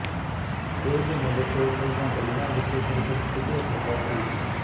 ਸ਼ੋਏਬ ਮਲਿਕ ਪਹਿਲਾਂ ਗਲੀਆਂ ਵਿੱਚ ਕ੍ਰਿਕਟ ਖੇਡਿਆ ਕਰਦਾ ਸੀ